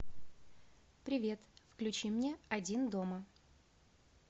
привет включи мне один дома